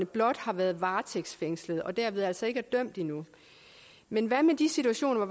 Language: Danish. blot har været varetægtsfængslet og dermed altså ikke er dømt endnu men hvad med de situationer